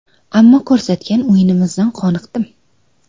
Ammo ko‘rsatgan o‘yinimizdan qoniqdim.